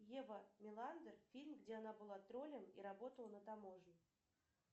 ева меландер фильм где она была троллем и работала на таможне